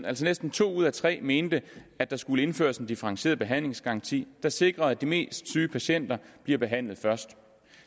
altså næsten to ud af tre mente at der skulle indføres en differentieret behandlingsgaranti der sikrer at de mest syge patienter bliver behandlet først